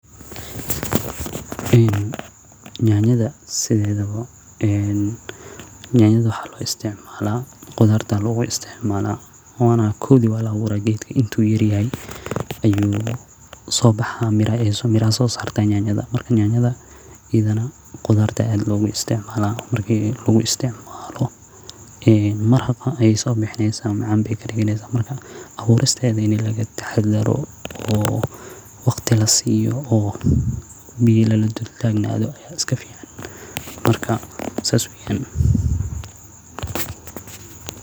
In nyanyadha sidedawo ee nyanayada waxaa lo istimala qudhaarta aya lagu isticmala wana kowdi waa la abura geedku intu yar yahay ee usobaxa mira ayey sosarte nyanyada, marka nyanyada iyadhadana qudhaarta aya aad logu isticmala marki lagu istimalo mirahan ayey sobixineysa macanka badan oo kadigeysa marka aburisteda in laga taxadaro oo waqti lasiyo oo biyo laladul tagnadho aya iska fican marka sas weyan.